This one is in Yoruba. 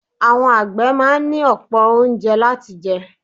Àwọn àgbẹ̀ máa ní ọ̀pọ̀ oúnjẹ láti jẹ.